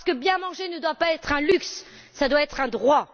Parce que bien manger ne doit pas être un luxe, cela doit être un droit.